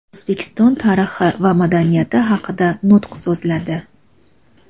O‘zbekiston tarixi va madaniyati haqida nutq so‘zladi.